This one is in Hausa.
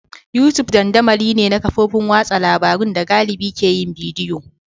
YouTube dandamali ne na kafofin watsa labarun da galibi ke yin bidiyo.